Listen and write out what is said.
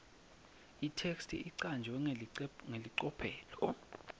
itheksthi icanjwe ngelicophelo